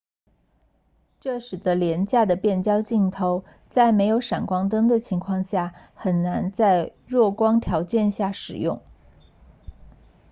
这使得廉价的变焦镜头在没有闪光灯的情况下很难在弱光条件下使用